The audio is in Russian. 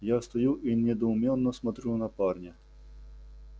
я стою и недоуменно смотрю на парня